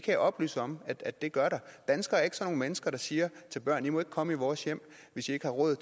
jeg oplyse om at der gør danskere er ikke sådan nogle mennesker der siger til børn i må ikke komme i vores hjem hvis i ikke har råd